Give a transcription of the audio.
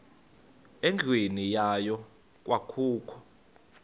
endlwini yayo kwakukho